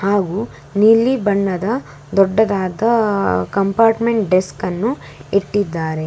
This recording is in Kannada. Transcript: ಹಾಗೂ ನೀಲಿ ಬಣ್ಣದ ದೊಡ್ಡದಾದ ಕಂಪಾರ್ಟ್ಮೆಂಟ್ ಡೆಸ್ಕ್ ಅನ್ನು ಇಟ್ಟಿದ್ದಾರೆ.